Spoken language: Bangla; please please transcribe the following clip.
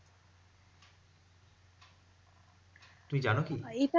তুমি জানো কি?